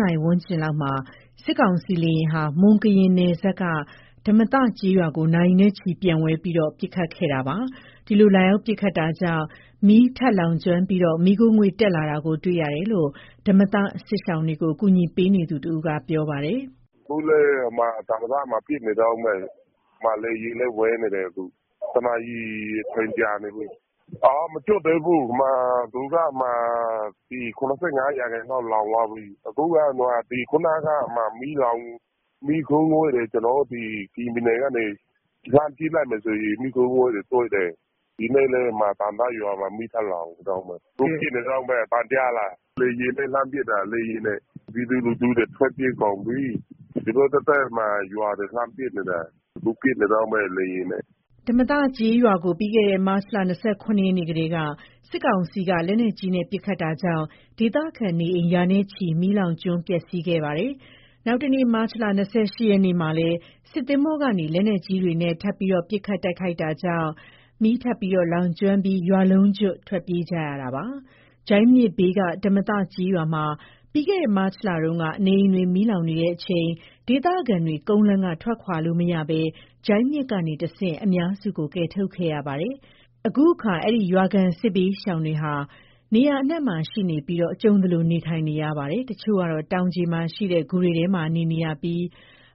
နာရီဝန်းကျင် လောက်မှာ စစ်ကောင်စီ လေယာဉ်ဟာ မွန် ကရင်နယ်စပ်က ဓမ္မသ ကျေးရွာကို နာရီနဲ့ချီ ပျံဝဲပြီး ပစ်ခတ်ခဲ့တာပါ။ ဒီလို လာရောက် ပစ်ခတ်တာကြောင့် မီး ထပ်မံလောင်ကျွမ်းပြီး မီးခိုးငွေ့တက်လာတာကို တွေ့ရတယ်လို့ ဓမ္မသစစ်ရှောင်တွေကို ကူညီပေးနေသူတဦးက ပြောပါတယ်။ "အခုလည်း ဓမ္မသမှာ ပစ်နေတုန်းပဲ။ လေယာဉ်လည်း ဝဲနေတယ်။ အချိန် ၁ နာရီ ကြာနေပြီ။ ရွာလုံးမကျွတ်သေးဘူး၊ သူက ၇၅ ရာခိုင်နှုန်းတော့ မီးလောင်သွားပြီ။ အခုက ခုနလေးကမှ မီးလောင်လို့ မီးခိုးငွေ့တွေ ကျနော်တို့ ကရင်ပြည်နယ်ကနေ လှမ်းကြည့်လိုက်ရင် တွေ့နေရတယ်။ ဒီနေ့လည်း ဓမ္မသရွာမှာ မီးထပ်လောင်နေတုန်းပဲ။ အခုပစ်နေတုန်းပဲ၊ အသံကြားလား၊ လေယာဉ်နဲ့ လှမ်းပစ်တာ။ ပြည်သူလူထုတွေ ထွက်ပြေးကုန်ပြီ။ သူတို့ သက်သက်ရွာတွေကို လှမ်းပစ်နေတယ်။ အခု လေယာဉ်နဲ့ ပစ်နေတုန်းပဲ။" ဓမ္မသကျေးရွာကို ပြီးခဲ့တဲ့ မတ်လ ၂၇ ရက်နေ့ကတည်းက စစ်ကောင်စီက လက်နက်ကြီး နဲ့ ပစ်ခတ်တာကြောင့် ဒေသခံနေအိမ်ရာနဲ့ချီ မီး လောင်ကျွမ်းပျက်စီးခဲ့ပါတယ်။ နောက်တနေ့ မတ်လ ၂၈ ရက်နေ့မှာလည်း စစ်သင်္ဘောကနေ လက်နက်ကြီးတွေနဲ့ ထပ်မံ ပစ်ခတ် တိုက်ခိုက်လာတာကြောင့် မီးထပ်မံလောင်ကျွမ်းပြီး ရွာလုံးကျွတ် ထွက်ပြေးခဲ့ရတာပါ။ ဂျိုင်းမြစ်ဘေးက ဓမ္မသကျေးရွာမှာ ပြီးခဲ့တဲ့ မတ်လတုန်းက နေအိမ်တွေ မီးလောင်ချိန်မှာ ဒေသခံတွေ ကုန်းလမ်းက ထွက်ခွာလို့မရဘဲ ဂျိုင်းမြစ်ကနေတဆင့် အများစုကို ကယ်ထုတ်ခဲ့ရပါတယ်။ ခုအခါ အဲဒီ ရွာခံ စစ်ဘေးရှောင်သူတွေက နေရာအနှံ့မှာ ရှိနေပြီး ကြုံသလို နေထိုင်နေပါတယ်။ တချို့ကတော့ တောင်ခြေမှာရှိတဲ့ ဂူတွေထဲမှာ နေထိုင်နေကြပြီး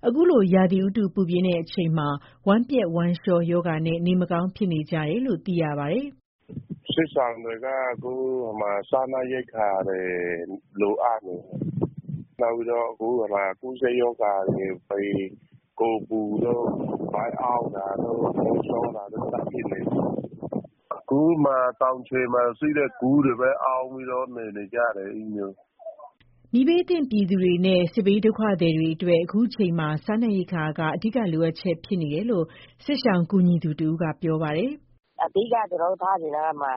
၊ အခုလို ရာသီဥတု ပူပြင်းချိန်မှာ ဝမ်းပျက်ဝမ်းလျှောနဲ့ နေမကောင်း ဖြစ်နေကြတယ်လို့ သိရပါတယ်။ "စစ်ရှောင်တွေက အခု စားနပ်ရိက္ခာတွေ လိုအပ်နေတယ်။ နောက်ပြီးတော့ အခု ကူးစက်ရောဂါတွေ ဖြစ်နေကြတယ်။ ကိုယ်ပူတာ၊ ဗိုက်အောင့်တာ၊ ဝမ်းလျှောတာတို့ ဖြစ်နေကြတယ်။ တောင်ခြေမှာရှိတဲ့ ဂူတွေမှာပဲ အောင်းပြီးတော့နေ နေကြရတယ်။" မီးဘေးသင့် ပြည်သူတွေနဲ့ စစ်ဘေး ဒုက္ခသည်တွေအတွက် အခုချိန်မှာ စားနပ်ရိက္ခာက အဓိကလိုအပ်ချက် ဖြစ်နေတယ်လို့ စစ်ရှောင်ကူညီသူ တဦးက ပြောပါတယ်။ "အဓိက ကျနော်တို့ဆီမှာ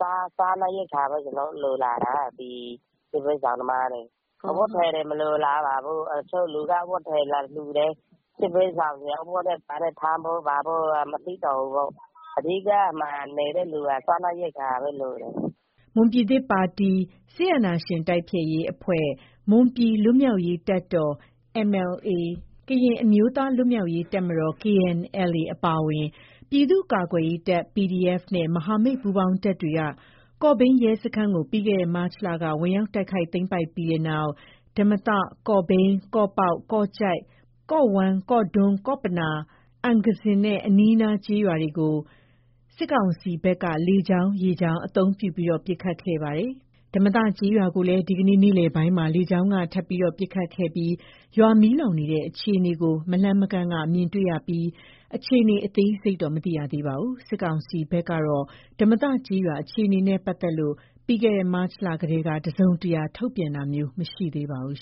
က စားနပ်ရိက္ခာပဲ လိုလာတာ စစ်ဘေးရှောင်တွေအတွက်။ အဝတ်အထည်တွေ မလိုလားပါဘူး။ တချို့က အဝတ်အထည်တွေ လာလှူတယ်။ စစ်ဘေးရှောင်တွေက အဝတ်နဲ့ဘာနဲ့ ထမ်းဖို့ဆိုတာ မသိတော့ဘူးကို။ အဓိကနေ နေကြတဲ့သူတွေက စားနပ်ရိက္ခာပဲ လိုနေတာ။" မွန်ပြည်သစ်ပါတီ အဖွဲ့၊ မွန်ပြည်လွတ်မြောက်ရေးတပ်တော် ၊ ကရင်အမျိုးသားလွတ်မြောက်ရေးတပ်မတော် KNLA အပါအဝင် ပြည်သူ့ကာကွယ်ရေးတပ် PDF နဲ့ မဟာမိတ်ပူးပေါင်းတပ်တွေက ကော့ဘိန်းရဲစခန်းကို ပြီးခဲ့တဲ့ မတ်လက ဝင်ရောက်တိုက်ခိုက် သိမ်းပိုက်ပြီးတဲ့နောက် ဓမ္မသ၊ ကော့ဘိန်း၊ ကော့ပေါက်၊ ကော့ကျိုက်၊ ကော့ဝမ်း၊ ကော့ဒွန်း၊ ကော့ပနော၊ အံဂစင်နဲ့ အနီးအနား ကျေးရွာတွေကို စစ်ကောင်စီဘက်က လေကြောင်း၊ ရေကြောင်း အသုံးပြုပြီး ပစ်ခတ်ခဲ့ပါတယ်။ ဓမ္မသကျေးရွာကိုလည်း ဒီကနေ့ နေ့လည်ပိုင်းမှာ လေကြောင်းကနေ ထပ်မံပစ်ခတ်ခဲ့ပြီး ရွာမီးလောင်နေတဲ့ အခြေအနေကို မလှမ်းမကမ်းကနေ မြင်တွေ့နေကြရပြီး၊ အခြေအနေ အသေးစိတ်ကိုတော့ မသိရသေးပါဘူး။ စစ်ကောင်စီဘက်ကတော့ ဓမ္မသကျေးရွာ အခြေအနေနဲ့ ပတ်သက်လို့ ပြီးခဲ့တဲ့ မတ်လကတည်းက တစုံတရာ ထုတ်ပြန်တာမျိုး မရှိသေးပါဘူး